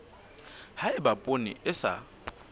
ha eba poone e sa